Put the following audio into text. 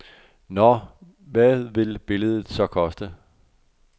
Nå, hvad vil billedet så koste?